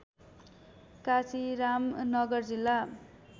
काशीराम नगर जिल्ला